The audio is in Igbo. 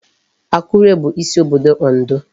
Akure bụ isi obodo Ondo.